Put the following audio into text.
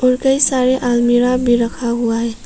और कई सारे आलमीरा भी रखा हुआ है।